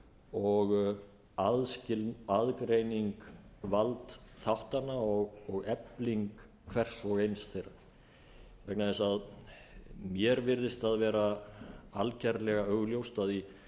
og aðgreining valdþáttanna og efling hvers og eins þeirra vegna þess að mér virðist það vera algjörlega augljóst að í